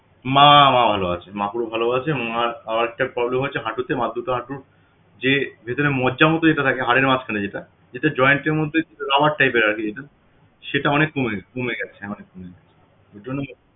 মা ভালো আছেন মা পুরো ভালো আছে মার আরেকটা problem হয়েছে হাঁটুতে মার দুটো হাঁটু যে যেখানে মজ্জামত যেটা থাকে হাড়ের মাঝখানে যেটা যেটা joint এর মধ্যে rubber type আরকি এর যেটা সেটা অনেক কমে গেছে কমে গেছে অনেক কমে গেছে এজন্যই আরকি